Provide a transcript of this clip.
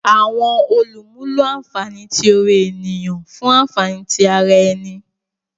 Awọn olumulo lo anfani ti ore eniyan fun anfani ti ara ẹni.